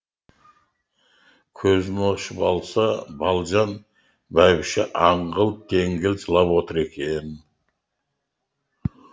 көзін ашып алса балжан бәйбіше аңғыл теңгіл жылап отыр екен